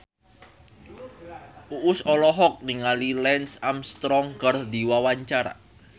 Uus olohok ningali Lance Armstrong keur diwawancara